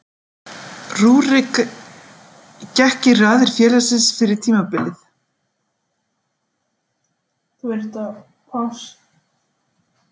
Rúrik gekk í raðir félagsins fyrir tímabilið.